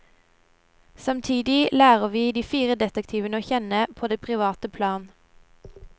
Samtidig lærer vi de fire detektivene å kjenne på det private plan.